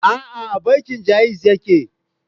A'a, a bankin Ja'iz yake aiki.